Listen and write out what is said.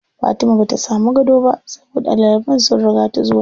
Fatima bata samu gado ba saboda ɗaliban sun riga ta zuwa.